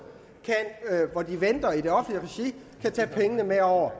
hvor de venter i det offentlige kan tage pengene med over